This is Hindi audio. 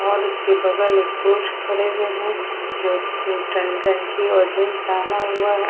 और उसके बगल में एक प्रोज खड़े हुएं हैं जो गंजी और जींन्स पेहना हुआ है।